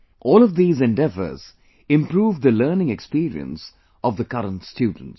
All of these endeavors improve the learning experience of the current students